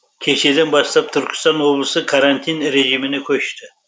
кешеден бастап түркістан облысы карантин режіміне көшті